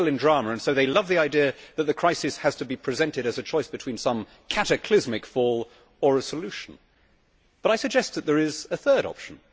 they deal in drama so they love the idea that the crisis has to be presented as a choice between some cataclysmic fall and a solution. But I suggest that there is a third option.